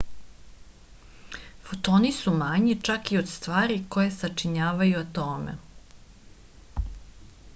fotoni su manji čak i od stvari koje sačinjavaju atome